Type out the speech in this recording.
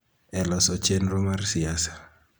e loso chenro mar siasa